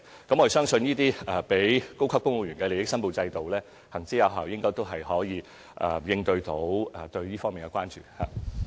我們相信，這些適用於高級公務員的利益申報制度行之有效，應能夠應對這方面的關注。